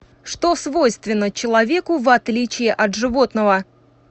что свойственно человеку в отличие от животного